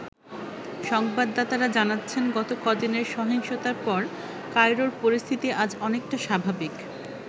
সংবাদাতারা জানাচ্ছেন গত কদিনের সহিংসতার পর কায়রোর পরিস্থিতি আজ অনেকটা স্বাভাবিক।